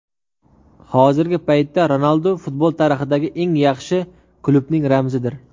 Hozirgi paytda Ronaldu futbol tarixidagi eng yaxshi klubning ramzidir.